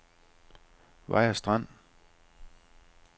Vejers Strand